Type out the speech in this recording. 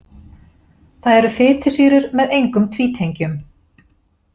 Það eru fitusýrur með engum tvítengjum.